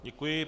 Děkuji.